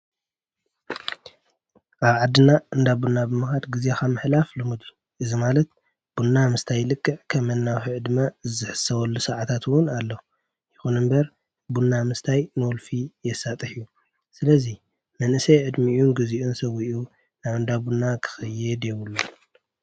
ኣብ ዓድና እንዳቡና ብምኻድ ጊዜ ንምሕላፍ ልሙድ እዚ ማለት ቡና ምስታይ ልክዕ ከም ናይወልፊ ዕድመ ዝሕሰበሉ ሰዓታትውን ኣለዉ፡፡ ይኹኑ እምበር ቡና ምስታይ ንወልፊ የሳጠሕ እዩ፡፡ ስለዙይ መንእሰይ ዕድሚኡን ጊዜኡን ሰዊኡ ናብ እንዳቡና ክኸይድ የቡሉን፡፡